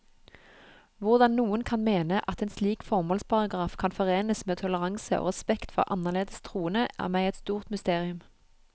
Hvordan noen kan mene at en slik formålsparagraf kan forenes med toleranse og respekt for annerledes troende, er meg et stort mysterium.